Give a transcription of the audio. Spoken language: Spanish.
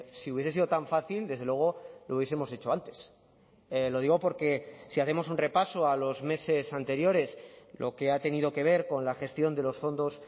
si hubiese sido tan fácil desde luego lo hubiesemos hecho antes lo digo porque si hacemos un repaso a los meses anteriores lo que ha tenido que ver con la gestión de los fondos